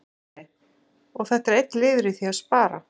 Sindri: Og þetta er einn liður í því að spara?